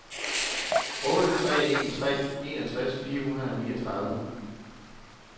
otte tre en tre enogtres fire hundrede og niogtredive